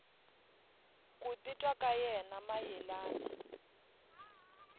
ku titwa ka yena mayelana